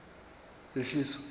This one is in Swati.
yehlisa